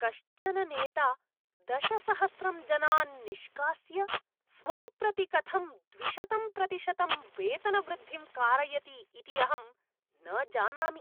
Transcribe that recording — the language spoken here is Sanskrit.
कश्चन नेता दशसहस्रं जनान् निष्कास्य, स्वं प्रति कथं द्विशतं प्रतिशतं वेतनवृद्धिं कारयति इति अहं न जानामि।